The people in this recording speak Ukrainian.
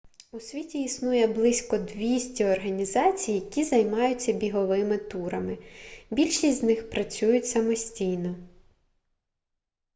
у світі існує близько 200 організацій які займаються біговими турами більшість з них працюють самостійно